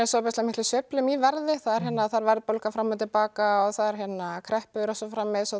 sveiflum í verði það er verðbólga fram og tilbaka og það eru kreppur og svo framvegis og